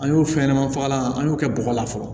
An y'o fɛn ɲɛnama fagalan an y'o kɛ bɔgɔ la fɔlɔ